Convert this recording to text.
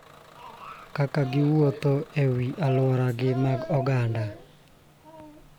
Kaka giwuotho ??e alwora gi mag oganda.